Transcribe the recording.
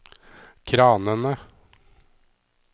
kranene